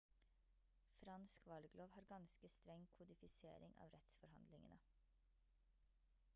fransk valglov har ganske streng kodifisering av rettsforhandlingene